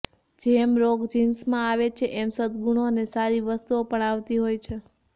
જેમ રોગો જિન્સમાં આવે છે એમ સદગુણો અને સારી વસ્તુઓ પણ આવતી હોય છે